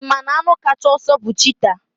Ị ma na anụ kacha ọsọ bụ Chita?